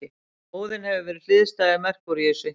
Óðinn hefur verið hliðstæður Merkúríusi.